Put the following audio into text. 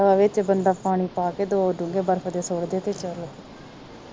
ਵਿੱਚ ਬੰਦਾ ਪਾਣੀ ਪਾ ਕ ਦੋ ਢੁੰਗੇ ਬਰਫ ਦੇ ਸੁੱਟਦੇ ਤੇ ਚੱਲ